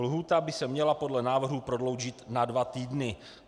Lhůta by se měla podle návrhu prodloužit na dva týdny."